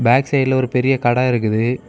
Back சைடுல ஒரு பெரிய கட இருக்குது.